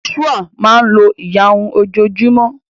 Joshua máa n lo ìyárún ojo o júmọ́